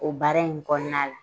O baara in kɔnɔna la